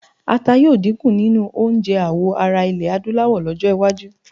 Ata yóò dínkù nínú oúnjẹ àwọ ará iẹ̀ Adúláwọ̀ lọ́jọ́-iwájú.